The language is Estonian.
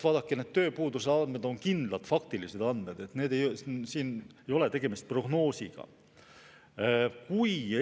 Vaadake, need tööpuuduse andmed on kindlad faktilised andmed, siin ei ole tegemist prognoosiga.